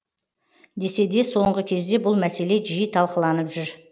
десе де соңғы кезде бұл мәселе жиі талқыланып жүр